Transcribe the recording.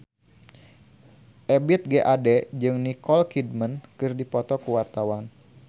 Ebith G. Ade jeung Nicole Kidman keur dipoto ku wartawan